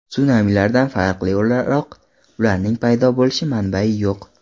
Sunamilardan farqli o‘laroq ularning paydo bo‘lish manbai yo‘q.